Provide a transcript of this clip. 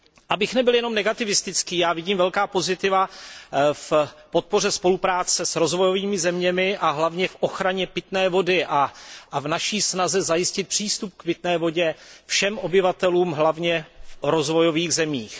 Abych nebyl jenom negativistický, já vidím velká pozitiva v podpoře spolupráce s rozvojovými zeměmi a hlavně v ochraně pitné vody a v naší snaze zajistit přístup k pitné vodě všem obyvatelům hlavně v rozvojových zemích.